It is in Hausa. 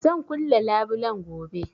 Zan kulle labulen gobe